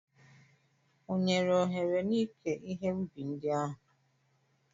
Ọ nyere ohere n'ike ihe ubi ndị ahụ?